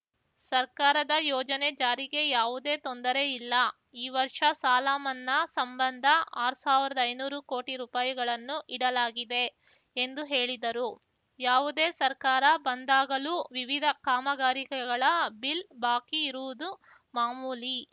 ಸರ್ಕಾರದ ಯೋಜನೆ ಜಾರಿಗೆ ಯಾವುದೇ ತೊಂದರೆ ಇಲ್ಲ ಈ ವರ್ಷ ಸಾಲ ಮನ್ನಾ ಸಂಬಂಧ ಆರ್ ಸಾವ್ರ್ದಐನೂರುಕೋಟಿ ರುಪಾಯಿಗಳನ್ನು ಇಡಲಾಗಿದೆ ಎಂದು ಹೇಳಿದರು ಯಾವುದೇ ಸರ್ಕಾರ ಬಂದಾಗಲೂ ವಿವಿಧ ಕಾಮಗಾರಿಕೆಗಳ ಬಿಲ್‌ ಬಾಕಿ ಇರುವುದು ಮಾಮೂಲಿ